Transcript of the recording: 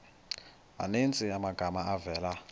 maninzi amagama avela